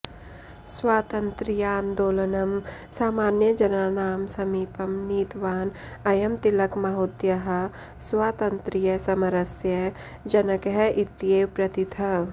स्वातन्त्र्यान्दोलनं सामान्यजनानां समीपं नीतवान् अयं तिलकमहोदयः स्वातन्त्र्यसमरस्य जनकः इत्येव प्रथितः